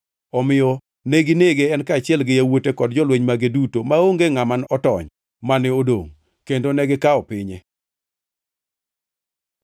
Omiyo neginege, en kaachiel gi yawuote kod jolweny mage duto, maonge ngʼama otony mane odongʼ. Kendo negikawo pinye.